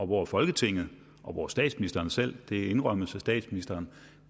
hvor folketinget og hvor statsministeren selv det indrømmes af statsministeren